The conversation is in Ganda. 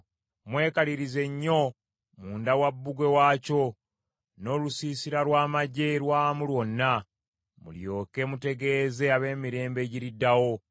Mwekalirize nnyo munda wa bbugwe waakyo n’olusiisira lw’amaggye lwamu lwonna; mulyoke mutegeeze ab’emirembe egiriddawo.